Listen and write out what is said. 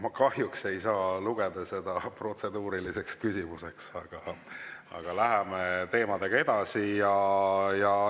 Ma kahjuks ei saa lugeda seda protseduuriliseks küsimuseks, aga läheme teemadega edasi.